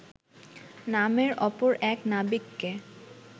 নামে অপর এক নাবিককে